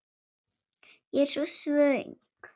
Ég er svo svöng.